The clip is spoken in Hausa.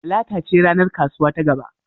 Talata ce ranar kasuwa ta gaba.